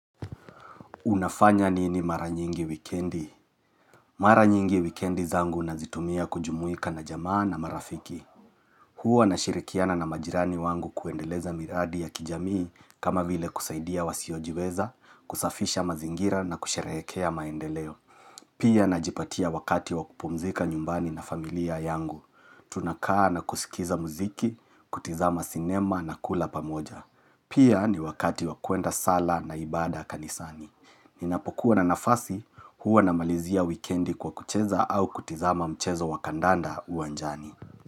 Unafanya nini maranyingi wikendi? Maranyingi wikendi zangu nazitumia kujumuika na jamaa na marafiki. Huwa na shirikiana na majirani wangu kuendeleza miradi ya kijamii kama vile kusaidia wasiojiweza, kusafisha mazingira na kusherehekea maendeleo. Pia najipatia wakati wa kupumzika nyumbani na familia yangu. Tunakaa na kusikiza muziki, kutizama sinema na kula pamoja. Pia ni wakati wa kuenda sala na ibada kanisani. Ninapokuwa na nafasi huwa na malizia wikendi kwa kucheza au kutizama mchezo wa kandanda uwanjani.